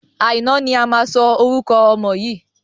Àìná ni a máa sọ orúkọ ọmọ yìí.